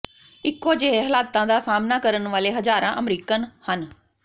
ਇੱਕੋ ਜਿਹੇ ਹਾਲਾਤ ਦਾ ਸਾਹਮਣਾ ਕਰਨ ਵਾਲੇ ਹਜ਼ਾਰਾਂ ਅਮਰੀਕਨ ਹਨ